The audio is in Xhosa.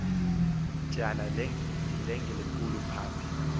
tyana lingelikhulu phambi